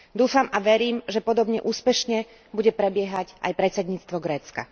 Dúfam a verím, že podobne úspešne bude prebiehať aj predsedníctvo Grécka.